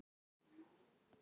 Og þá verður hreint.